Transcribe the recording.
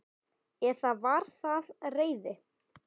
Eða var það reiði?